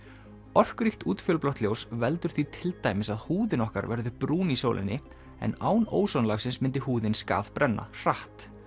orkuríkt útfjólublátt ljós veldur því til dæmis að húðin okkar verður brún í sólinni en án ósonlagsins myndi húðin skaðbrenna hratt